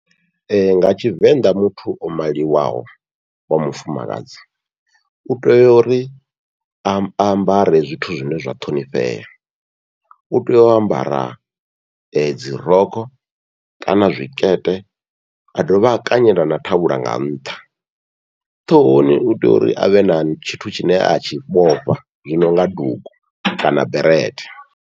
Nga Tshivenḓa muthu o maliwaho wa mufumakadzi utea uri a ambare zwithu zwine zwa ṱhonifhea, utea u ambara dzi rokho kana zwikete a dovha a kanyela na thavhula nga ntha, ṱhohoni utea uri avhe na tshithu tshine atshi vhofha zwi nonga dugu kana berete.